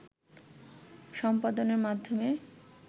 সম্পাদনের মাধ্যমে